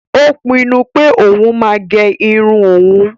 Ó pinnu pé òún máa gé irun òún